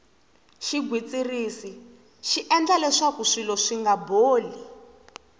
xigwitsirisi xi endla kuri swilo swinga boli